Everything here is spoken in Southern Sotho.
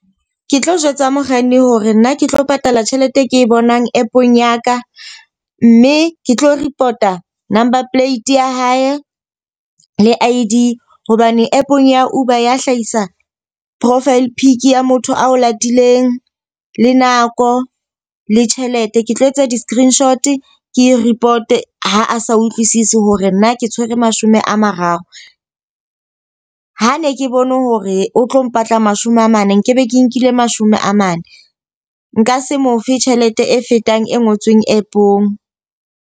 Ke tlo jwetsa mokganni hore nna ke tlo patala tjhelete e ke bonang app-ong ya ka. Mme ke tlo report-a number plate ya hae le I_D hobane app-ong ya Uber ya hlahisa profile pic ya motho ao latileng, le nako l, e tjhelete. Ke tlo etsa di-screenshot ke report ha a sa utlwisisi hore nna ke tshwere mashome a mararo. Ha ne ke bone hore o tlo mpatla mashome a mane, nkebe ke nkile mashome a mane. Nka se mo fe tjhelete e fetang e ngotsweng app-ong.